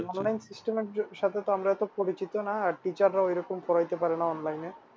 Online system এর সাথে তো আমরা অত পরিচিত না teacher রাও ওরকম পড়াইতে পারে না online এ